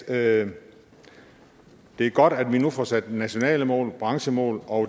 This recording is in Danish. at det er godt at vi nu får sat nationale mål branchemål og